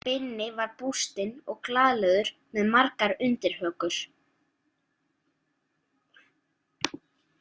Binni var bústinn og glaðlegur með margar undirhökur.